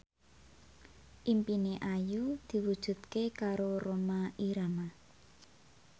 impine Ayu diwujudke karo Rhoma Irama